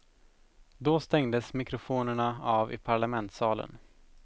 Då stängdes mikrofonerna av i parlamentssalen.